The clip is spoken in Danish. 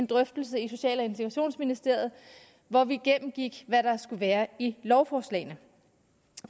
drøftelse i social og integrationsministeriet hvor vi gennemgik hvad der skulle være i lovforslagene